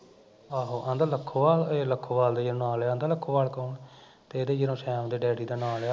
ਆਹੋ ਕਹਿੰਦਾ ਲਖੋਵਾਲ ਏਹਨੇ ਲਖੋਵਾਲ ਦਾ ਨਾ ਲਿਆ, ਕਹਿੰਦਾ ਲਖੋਵਾਲ ਦਾ ਕੋਣ ਆ ਤੇ ਇਹਨੇ ਜਦੋਂ ਸੈਮ ਦੇ ਡੈਡੀ ਦਾ ਨਾ ਲਿਆ